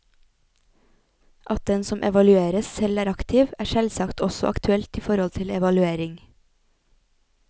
At den som evalueres, selv er aktiv, er selvsagt også aktuelt i forhold til evaluering.